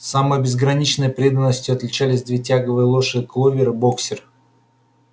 самой безграничной преданностью отличались две тягловые лошади кловер и боксёр